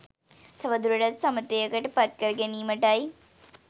තවදුරටත් සමතයකට පත්කර ගැනීමටයි.